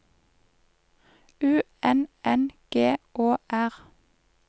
U N N G Å R